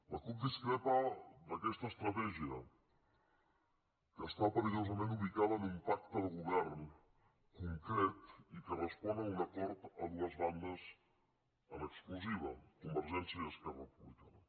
la cup discrepa d’aquesta estratègia que està perillosament ubicada en un pacte de govern concret i que respon a un acord a dues bandes en exclusiva convergència i esquerra republicana